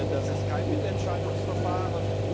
Das ist kein Mitentscheidungsverfahren.